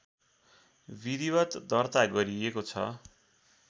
विधिवत् दर्ता गरिएको छ